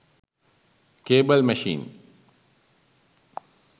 cable machine